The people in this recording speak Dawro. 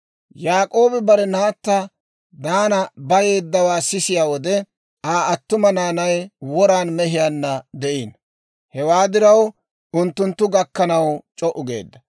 Yaak'oobi bare naatta Diinaa bayeeddawaa sisiyaa wode, Aa attuma naanay woran mehiyaanna de'ino; hewaa diraw unttunttu gakkanaw c'o"u geedda.